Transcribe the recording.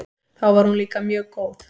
Þá var hún líka mjög góð.